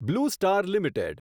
blue Star limited